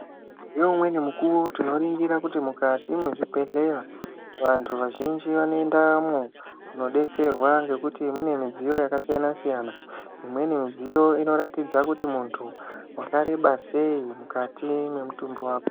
Neumweni mukuwo tinoringira kuti mukati mwechibhedhleya vanthu vazhinji vanoendamwo kunodetserwa nekuti mune midziyo yakasiyana siyana imweni midziyo inoratidza kuti munthu wakareba sei mukati mwemutumbi wako.